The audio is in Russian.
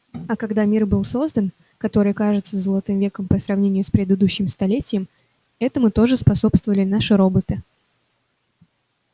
а когда был создан мир который кажется золотым веком по сравнению с предыдущим столетием этому тоже способствовали наши роботы